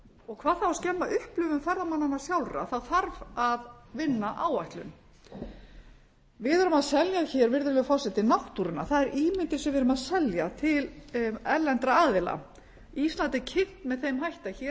og hvað þá að skemma upplifun ferðamannanna sjálfra þá þarf að vinna áætlun við erum að selja hér virðulegur forseti náttúruna það er ímyndin sem við erum að selja til erlendra aðila ísland er kynnt með þeim hætti að hér